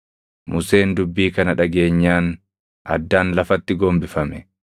Museen dubbii kana dhageenyaan addaan lafatti gombifame.